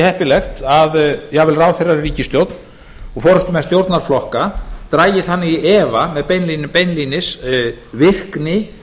heppilegt að jafnvel ráðherrar í ríkisstjórn og forustumenn stjórnarflokka dragi þannig í efa beinlínis virkni